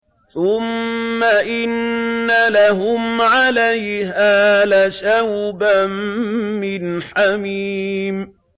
ثُمَّ إِنَّ لَهُمْ عَلَيْهَا لَشَوْبًا مِّنْ حَمِيمٍ